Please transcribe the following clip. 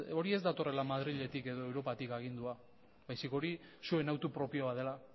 hori ez datorrela madriletik edo europatik agindua baizik eta hori zuen hautu propioa dela